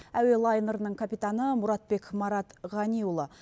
әуе лайнерінің капитаны мұратбек марат ғаниұлы